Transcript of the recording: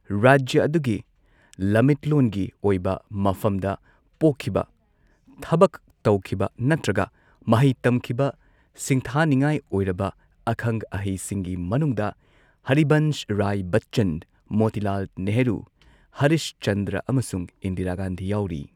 ꯔꯥꯖ꯭ꯌ ꯑꯗꯨꯒꯤ ꯂꯝꯃꯤꯠꯂꯣꯟꯒꯤ ꯑꯣꯏꯕ ꯃꯐꯝꯗ ꯄꯣꯛꯈꯤꯕ, ꯊꯕꯛ ꯇꯧꯈꯤꯕ ꯅꯠꯇ꯭ꯔꯒ ꯃꯍꯩ ꯇꯝꯈꯤꯕ ꯁꯤꯡꯊꯥꯅꯤꯡꯉꯥꯏ ꯑꯣꯏꯔꯕ ꯑꯈꯪ ꯑꯍꯩꯁꯤꯡꯒꯤ ꯃꯅꯨꯡꯗ ꯍꯔꯤꯕꯟꯁ ꯔꯥꯏ ꯕꯆ꯭ꯆꯟ, ꯃꯣꯇꯤꯂꯥꯜ ꯅꯦꯍꯔꯨ, ꯍꯔꯤꯁ ꯆꯟꯗ꯭ꯔ ꯑꯃꯁꯨꯡ ꯏꯟꯗꯤꯔꯥ ꯒꯥꯟꯙꯤ ꯌꯥꯎꯔꯤ꯫